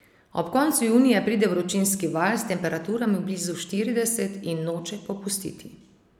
Ob koncu junija pride vročinski val s temperaturami blizu štirideset in noče popustiti.